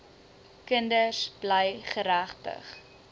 kinders bly geregtig